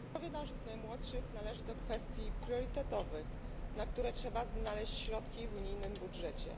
Zdrowie naszych najmłodszych należy do kwestii priorytetowych, na które trzeba znaleźć środki w unijnym budżecie.